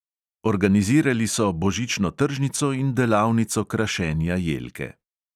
Organizirali so božično tržnico in delavnico krašenja jelke.